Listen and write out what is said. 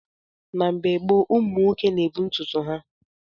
Na mgbe gboo, ụmụ nwoke na-ebu ntutu eke ha.